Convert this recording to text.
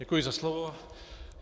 Děkuji za slovo.